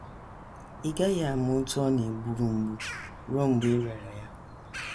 Ị GAGHỊ AMA OTÚ Ọ NA - EGBURU MGBU RUO MGBE Ị RỊARA YA.